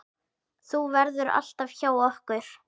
Þú verður alltaf hjá okkur.